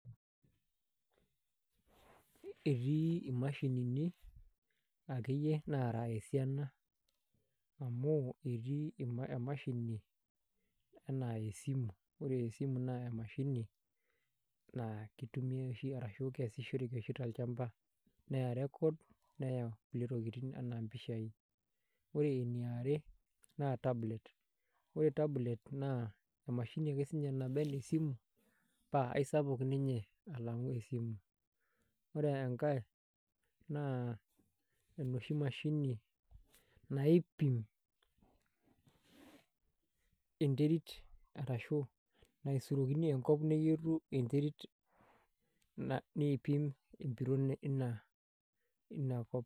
Etii imashinini akeyie naara esiana amu etii emashini enaa esimu, ore esimu naa emashini naa kitumiyai oshi arashu keesishoreki oshi tolchamba neya records neya kulie tokitin enaa mpishaai ore eniare naa tablet, ore tablet naa emashini ake siinye naba enaa esimu paa aisapuk ninye alang' esimu ore enkae naa enoshi mashini naipim enterit arashu naisurokini enkop neyietu enterit niipim empiron ina kop.